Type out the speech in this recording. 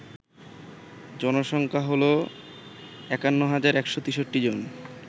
জনসংখ্যা হল ৫১১৬৩ জন